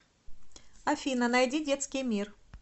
афина найди детский мир